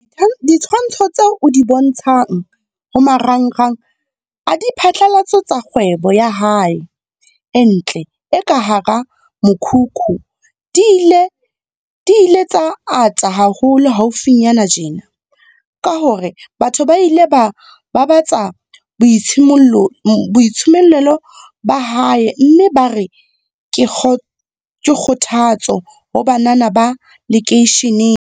Ditshwantsho tseo a di bontshang ho maranrang a diphatlalatso tsa kgwebo ya hae e ntle e ka hara mokhukhu di ile tsa ata haholo haufinyana tjena, ka hore batho ba ile ba babatsa boitshimollelo ba hae mme bare ke kgothatso ho banana ba lekeisheneng.